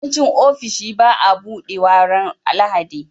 yawanci ofishi baa buɗewa ran lahadi